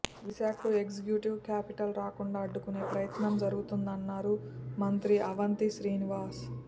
విశాఖకు executive capital రాకుండా అడ్డుకునే ప్రయత్నం జరుగుతోందన్నారు మంత్రి అవంతి శ్రీనివాస్